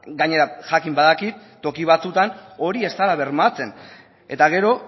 gainera jakin badakit toki batzuetan hori ez dela bermatzen eta gero